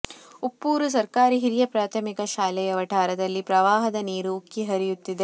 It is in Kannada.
ಉಪ್ಪೂರು ಸರ್ಕಾರಿ ಹಿರಿಯ ಪ್ರಾಥಮಿಕ ಶಾಲೆಯ ವಠಾರದಲ್ಲಿ ಪ್ರವಾಹದ ನೀರು ಉಕ್ಕಿ ಹರಿಯುತ್ತಿದೆ